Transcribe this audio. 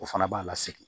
O fana b'a la segin